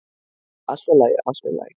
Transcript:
"""Allt í lagi, allt í lagi."""